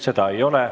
Seda ei ole.